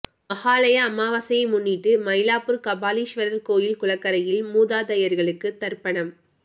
மஹாளய அமாவாசையை முன்னிட்டு மயிலாப்பூர் கபாலீஸ்வரர் கோவில் குளக்கரையில் மூதாதையர்களுக்கு தர்ப்பணம்